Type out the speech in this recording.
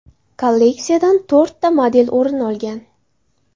Kolleksiyadan to‘rtta model o‘rin olgan.